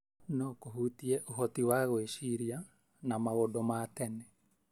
no kũhutie ũhoti wa gwĩciria na maũndũ ma tene